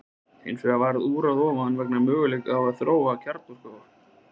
Hins vegar varð úran ofan á vegna möguleikans á að þróa kjarnorkuvopn.